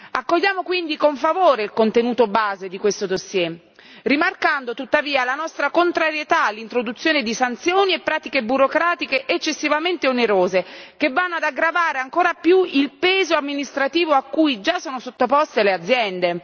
Accogliamo quindi con favore il contenuto di base di questo dossier, rimarcando tuttavia la nostra contrarietà all'introduzione di sanzioni e pratiche burocratiche eccessivamente onerose che vanno ad aggravare ancora di più il peso amministrativo a cui già sono sottoposte le aziende.